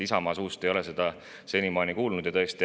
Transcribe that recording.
Isamaa suust ei ole seda senimaani kuulda olnud.